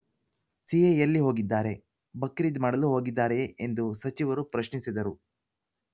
C A ಎಲ್ಲಿ ಹೋಗಿದ್ದಾರೆ ಬಕ್ರೀದ್‌ ಮಾಡಲು ಹೋಗಿದ್ದಾರೆಯೇ ಎಂದು ಸಚಿವರು ಪ್ರಶ್ನಿಸಿದರು